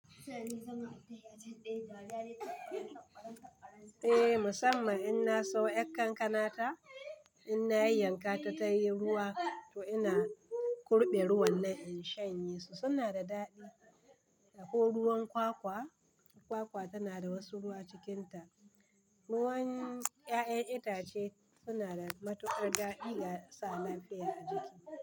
Eh musamman in na siyo 'yar kankana ta. In na yayyanka ta ta yi ruwa to ina kurɓe ruwan nan in shanye su, suna da daɗi. Ko ruwan kwakwa, kwakwa tana da wasu ruwa cikinta. Ruwan 'ya'yan itace suna da matuƙar daɗi ga sa lafiya a jiki.